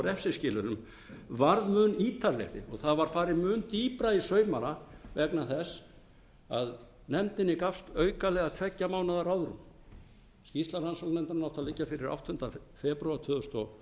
refsiskilyrðum varð mun ítarlegri og það var farið mun dýpra í saumana vegna þess að nefndinni gafst aukalega tveggja mánaða ráðrúm skýrsla rannsóknarnefndarinnar átti að liggja fyrir áttunda febrúar tvö þúsund